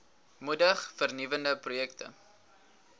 moedig vernuwende projekte